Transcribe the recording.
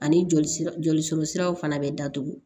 Ani jolisira joli siraw fana bɛ datugu